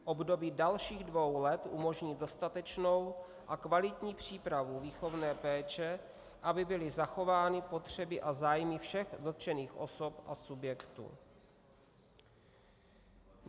Období dalších dvou let umožní dostatečnou a kvalitní přípravu výchovné péče, aby byly zachovány potřeby a zájmy všech dotčených osob a subjektů.